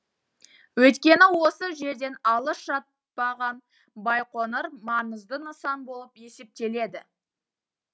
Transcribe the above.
өйткені осы жерден алыс жатпаған байқоңыр маңызды нысан болып есептеледі